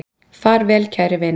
Far vel, kæri vin.